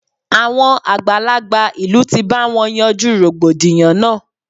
Àwọn àgbàlagbà ìlú ti bá wọn yanjú rògbòdìyàn náà.